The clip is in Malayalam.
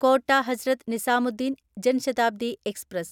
കോട്ട ഹസ്രത്ത് നിസാമുദ്ദീൻ ജൻ ശതാബ്ദി എക്സ്പ്രസ്